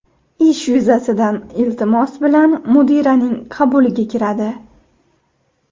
ish yuzasidan iltimos bilan mudiraning qabuliga kiradi.